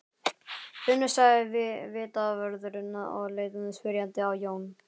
Finnur sagði vitavörðurinn og leit spyrjandi á Jón.